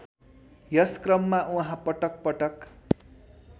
यसक्रममा उहाँ पटक पटक